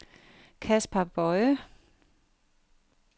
Kaspar Boje